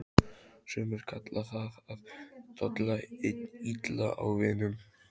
Sumir kalla það að tolla illa í vinnu.